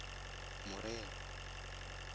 morero